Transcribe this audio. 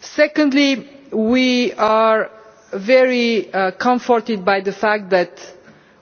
Secondly, we are very comforted by the fact that